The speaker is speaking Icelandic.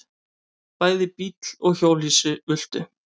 Bæði bíll og hjólhýsi ultu.